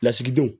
Lasigidenw